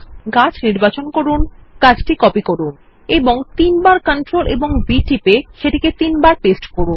গাছ নির্বাচন করুন এবং ctrl এবং C টিপে কপি করুন এবং তিনবার Ctrl ও V টিপে তিনবার পেস্ট করুন